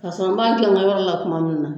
Paseke n b'a kɛ n ka yɔrɔ la kuma min na.